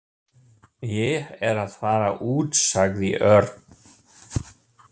Ég er að fara út sagði Örn.